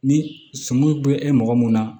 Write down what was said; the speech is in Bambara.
Ni sɔmi be e mɔgɔ mun na